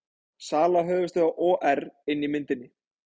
Sala höfuðstöðva OR inni í myndinni